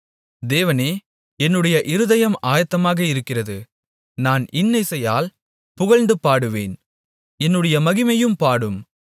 தேவனே என்னுடைய இருதயம் ஆயத்தமாக இருக்கிறது நான் இன்னிசையால் புகழ்ந்து பாடுவேன் என்னுடைய மகிமையும் பாடும்